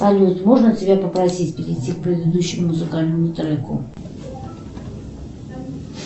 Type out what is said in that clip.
салют можно тебя попросить перейти к предыдущему музыкальному треку